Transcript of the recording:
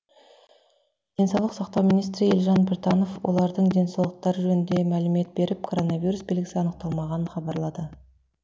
денсаулық сақтау министрі елжан біртанов олардың денсаулықтары жөнінде мәлімет беріп коронавирус белгісі анықталмағанын хабарлады